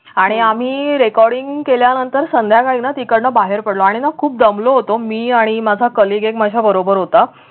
आणि आम्ही recording केल्यानंतर संध्याकाळी ना तिकडन बाहेर पडलो आणि ना खूप दमलो होतो मी आणि माझा कलिक एक माझ्या बरोबर होता